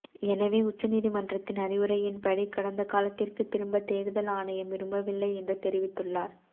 எனவே உச்ச நீதிமன்றத்தின் அறிவுரையின்படி கடந்த காலத்திற்கு திரும்ப தேர்தல் ஆணையம் விரும்பவில்லை என்று தெரிவித்துள்ளார்